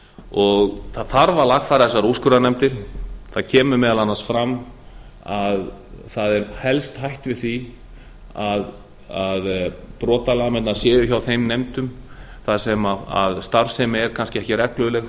það þarf að lagfæra þessar úrskurðarnefndir það kemur meðal annars fram að það er helst hætt við því að brotalamirnar séu hjá þeim nefndum þar sem starfsemi er kannski ekki regluleg